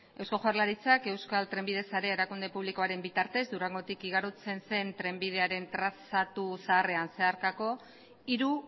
eusko jaurlaritzak euskal trenbide sarea erakunde publikoaren bitartez durangotik igarotzen zen trenbidearen trazatu zaharrean zeharkako hiru